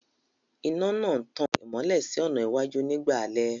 Iná náà ń tan ìmọ́lẹ̀ sí ọ̀nà iwájú nígbà alẹ́